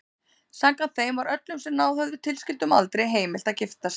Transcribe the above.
Samkvæmt þeim var öllum sem náð höfðu tilskildum aldri heimilt að giftast.